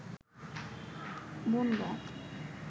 Bongaon